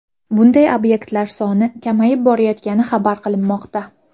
Bunday obyektlar soni kamayib borayotgani xabar qilinmoqda.